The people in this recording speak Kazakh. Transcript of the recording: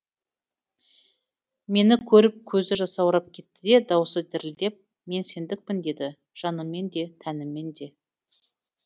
мені көріп көзі жасаурап кетті де дауысы дірілдеп мен сендікпін деді жаныммен де тәніммен де